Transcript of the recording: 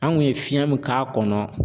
An ŋun ye fiɲɛ min k'a kɔnɔ